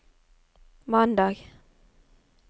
mandag